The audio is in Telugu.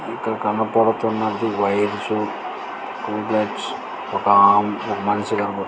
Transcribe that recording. ఇక్కడ కనపడుతున్నది వైర్స్ ట్యూబ్ లైట్స్ ఒక ఒకమనిషి కనపడుతుంది .